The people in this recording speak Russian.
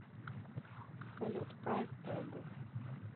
салют прайс тэг